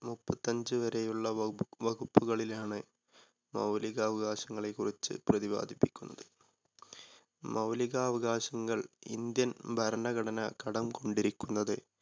മുപ്പത്തഞ്ച് വരെയുള്ള വകു~വകുപ്പുകളിലാണ് മൗലിക അവകാശങ്ങളെ കുറിച്ച് പ്രതിപാദിപ്പി ക്കുന്നത്. മൗലിക അവകാശങ്ങൾ ഇന്ത്യൻ ഭരണഘടന കടം കൊണ്ടിരിക്കുന്നത്